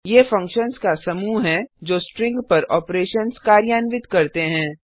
ये फंक्शन्स का समूह हैं जो स्ट्रिंग पर ऑपरेशन्स कार्यान्वित करते हैं